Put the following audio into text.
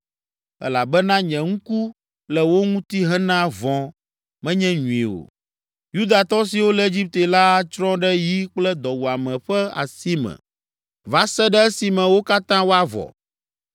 elabena nye ŋku le wo ŋuti hena vɔ̃, menye nyui o. Yudatɔ siwo le Egipte la atsrɔ̃ ɖe yi kple dɔwuame ƒe asi me va se ɖe esime wo katã woavɔ.